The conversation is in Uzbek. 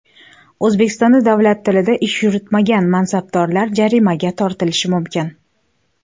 O‘zbekistonda davlat tilida ish yuritmagan mansabdorlar jarimaga tortilishi mumkin.